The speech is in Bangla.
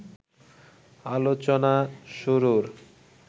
আলোচনা শুরুর